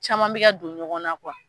Caman bɛ ka don ɲɔgɔn na